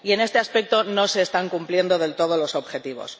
Y en este aspecto no se están cumpliendo del todo los objetivos.